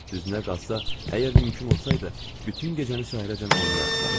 Düzünüə qalsa, əgər mümkün olsaydı, bütün gecəni səhərəcən oynayardılar.